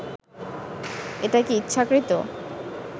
এটা কি ইচ্ছাকৃত